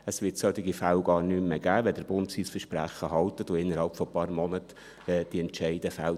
Es wird solche Fälle gar nicht mehr geben, wenn der Bund sein Versprechen hält und innerhalb von einigen Monaten diese Entscheide fällt.